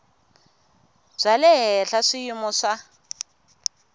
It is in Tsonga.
bya le henhla swiyimo swa